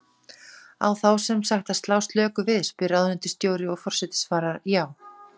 Á þá sem sagt að slá slöku við? spyr ráðuneytisstjóri, og forseti svarar: Já.